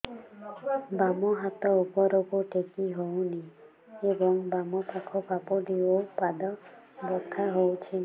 ବାମ ହାତ ଉପରକୁ ଟେକି ହଉନି ଏବଂ ବାମ ପାଖ ପାପୁଲି ଓ ପାଦ ବଥା ହଉଚି